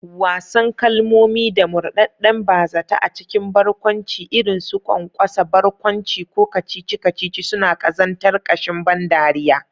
Wasan kalmomi da murɗaɗɗen ba-zata a cikin barkwanci, irin su ƙwanƙwasa barkwanci ko kacici-kacici, suna ƙazantar ƙashin ban dariya.